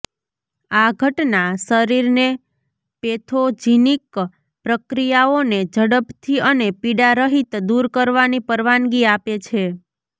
આ ઘટના શરીરને પેથોજિનિક પ્રક્રિયાઓને ઝડપથી અને પીડારહીત દૂર કરવાની પરવાનગી આપે છે